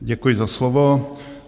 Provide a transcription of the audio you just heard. Děkuji za slovo.